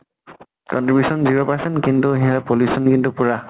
contribution zero percent কিন্তু সেয়া pollution কিন্তু পুৰা।